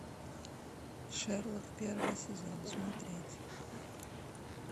шерлок первый сезон смотреть